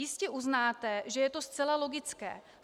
Jistě uznáte, že je to zcela logické.